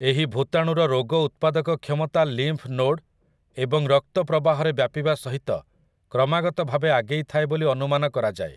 ଏହି ଭୂତାଣୁର ରୋଗ ଉତ୍ପାଦକ କ୍ଷମତା ଲିମ୍ଫ୍ ନୋଡ୍ ଏବଂ ରକ୍ତ ପ୍ରବାହରେ ବ୍ୟାପିବା ସହିତ କ୍ରମାଗତ ଭାବେ ଆଗେଇ ଥାଏ ବୋଲି ଅନୁମାନ କରାଯାଏ ।